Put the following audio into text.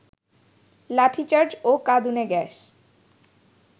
লাঠিচার্জ ও কাঁদুনে গ্যাস